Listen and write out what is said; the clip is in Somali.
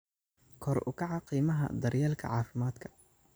Kor u kaca Qiimaha Daryeelka Caafimaadka.